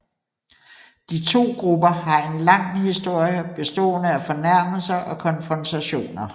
De to grupper har en lang historie bestående af fornærmelser og konfrontationer